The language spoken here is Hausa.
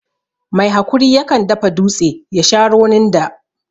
Mai hakuri ya kan dafa dutse ya sha ronin da